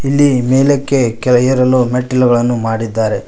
ಇಲ್ಲಿ ಮೇಲಕ್ಕೆ ಏರಲು ಮೆಟ್ಟಿಲುಗಳು ಮಾಡಿದ್ದಾರೆ.